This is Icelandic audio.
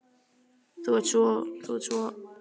Þú ert svo. þú ert svo.